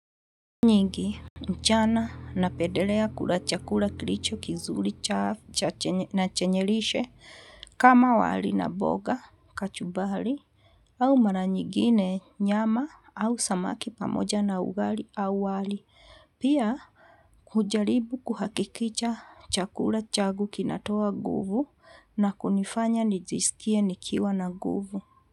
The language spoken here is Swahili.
Nyingi mchana na pedelea kula chakula kilicho kizuli na chenye lishe kama wali na boga kachubali. Au maranyigine nyama au samaki pamoja na ugali au wali pia. Ujaribu kuhakikicha chakula chagu kinatoa guvu na kunifanya nijisikie nikiwa na guvu.